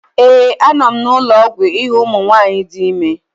ee, a nọ m n'ụlọ ọgwụ ịhụ ụmụ nwanyị dị ime